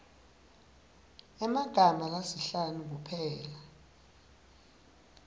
emagama lasihlanu kuphela